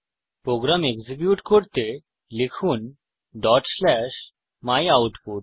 programme execute করতে লিখুন dot slash my output